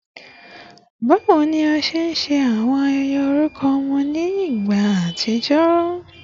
Bawo ni a ṣe nṣe awọn ayẹyẹ orukọ ọmọ ni igba atijọ?